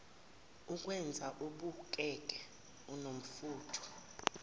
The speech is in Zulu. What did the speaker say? ikwenza ubukeke unomfutho